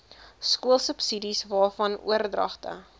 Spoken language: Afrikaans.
skoolsubsidies waarvan oordragte